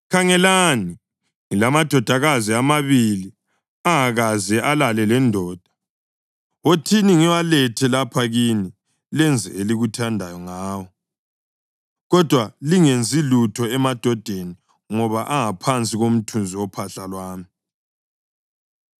Khangelani, ngilamadodakazi amabili angakaze alale lendoda. Wothini ngiwalethe lapha kini lenze elikuthandayo ngawo. Kodwa lingenzi lutho emadodeni ngoba angaphansi komthunzi wophahla lwami.”